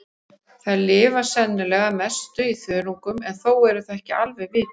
Þær lifa sennilega að mestu á þörungum en þó er það ekki alveg vitað.